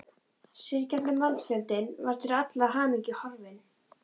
Syrgjandi mannfjöldinn var til allrar hamingju horfinn.